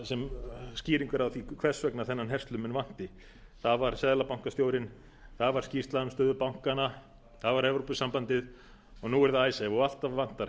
sem skýringar á því hvers vegna þennan herslumun vanti það var seðlabankastjórinn það var skýrsla um stöðu bankanna það var evrópusambandið og nú er það icesave alltaf vantar